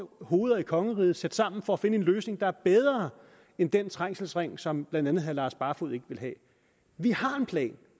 hoveder i kongeriget og sætte sammen for at finde en løsning der er bedre end den trængselsring som blandt andet herre lars barfoed ikke ville have vi